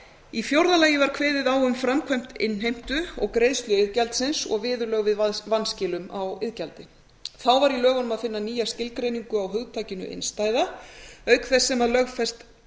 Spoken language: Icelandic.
í fjórða lagi var kveðið á um framkvæmd innheimtu og greiðslu iðgjaldsins og viðurlög við vanskilum á iðgjaldi þá var í lögunum að finna nýja skilgreiningu á hugtakinu innstæða auk þess sem lögfest